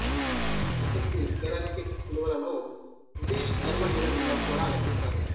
ఉష్ణ శక్తి కేలరిఫిక్ విలువలను బ్రిటిషు థెర్మల్ యూనిట్లలో కూడా లెక్కిస్తారు